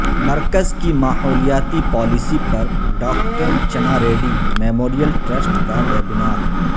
مرکز کی ماحولیاتی پالیسی پر ڈاکٹر چناریڈی میموریل ٹرسٹ کا ویبنار